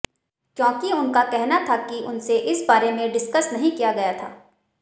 क्योंकि उनका कहना था कि उनसे इस बारे में डिस्कस नहीं किया गया था